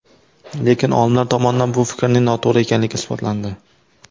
Lekin, olimlar tomonidan bu fikrning noto‘g‘ri ekanligi isbotlandi.